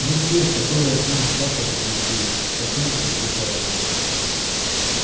ну те которые к нам с запада пришли от немцев бежали